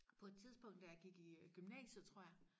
på et tidspunkt da jeg gik i gymnasiet tror jeg